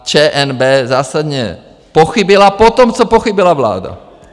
A ČNB zásadně pochybila potom, co pochybila vláda.